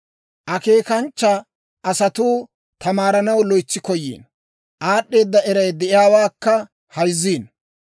Akeekanchcha asatuu tamaaranaw loytsi koyiino; aad'd'eeda eray de'iyaawaakka hayzziino.